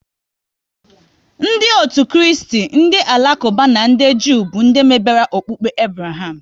Ndị otu Kristi, ndị Alakuba na ndị Jew bụ ndị mebere okpukpe Abraham